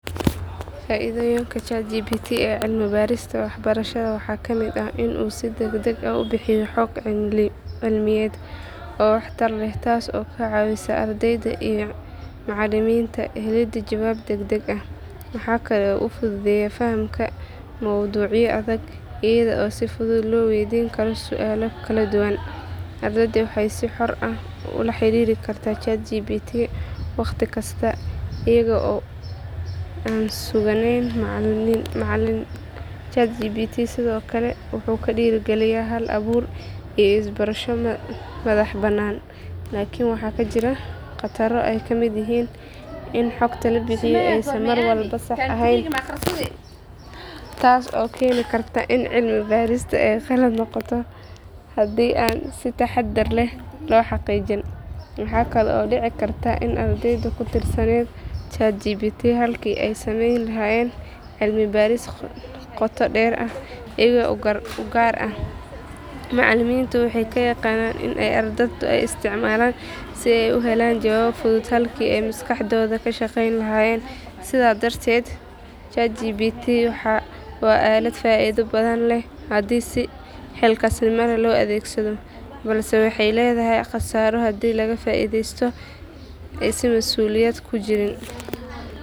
Faithoyinka GhatGb ee celmi barista waxbarshada waxakamit aah in oo si dagdag waxa u bixiyoh xoog celmi yet oo wax tar leh taaso oo kacawisoh ardeydaa iyo macaliminta helida jawabta dadaga aah, waxakali oo futhutheyah fahamka oo ducye adeth eyado sufuthut loweydinkaroh sual kaladuwan handa si xoor aah ula xaririvkartah GhatGb waqdi kasta adega oo suganin macalin sethokali waxu kuderikaliyah Hal abuur iyo isbarsho madaxbanan iklni waxakajirah qataro ayakamityahin in xoogta labixiyih mar walba saax aheeyn taaso oo kenikartah in celimi barista qalat noqotoh handi aa si taxadarleh loxaqijinin maxakali oo deci in celimi baris noqotoh halki ay masqaxdotha kashqeylahayinn, sethokali darted GhatGb wa alat faitha bathan leeh handi si xeelkaqathes noma leeh lo adegsadoh balse waxaleedahay qassaro handi Laga faitheystah si masuliyad kujirin..